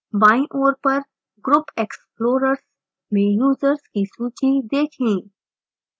बायीँ ओर पर group explorers में यूजर्स की सूची देखें